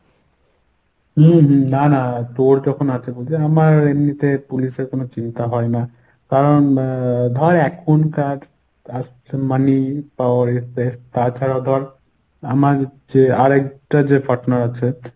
হুম হুম না না তোর যখন আছে বুঝলে। আমার এমনিতে police এর কোনো চিন্তা হয় না। কারণ এর ধর এখনকার money power is best তাছাড়াও ধর আমার যে আরেকটা যে partner আছে